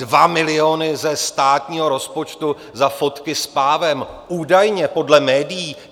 Dva miliony ze státního rozpočtu za fotky s pávem, údajně, podle médií.